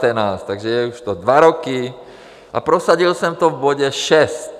Takže je to už dva roky a prosadil jsem to v bodě šest.